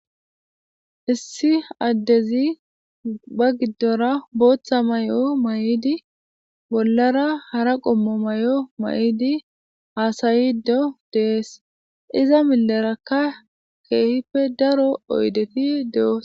issi addezi ba giddora booththa mayo mayidi bollara hara qommo mayo mayidi haasayido de'ees iza millerakka keehippe daro oydeti de'osona.